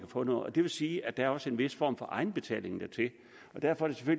få noget det vil sige at der også er en vis form for egenbetaling dertil og derfor